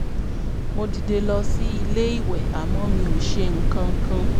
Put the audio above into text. mo dìde lọ sí ilé ìwẹ̀ àmọ́ mi ò ṣe nǹkan kan